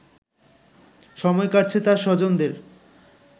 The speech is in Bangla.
সময় কাটছে তার স্বজনদের